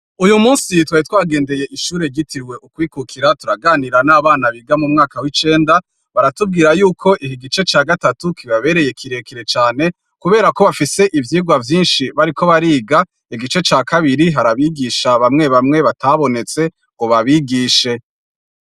Uwu munsi twari twagendeye ishure ryitiriwe ukwikukira turaganira n'abana biga mu mwaka w'icenda, baratubwira yuko iki gice ca gatatu kibabereye kirekire cane kubera ko bafise ivyigwa vyinshi bariko bariga, igice ca kabiri hari abigisha bamwe bamwe batabonetse ngo babigishe.